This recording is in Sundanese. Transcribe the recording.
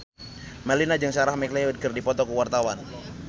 Melinda jeung Sarah McLeod keur dipoto ku wartawan